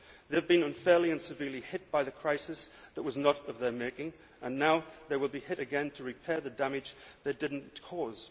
They have been unfairly and severely hit by the crisis that was not of their making and now they will be hit again to repair the damage they did not cause.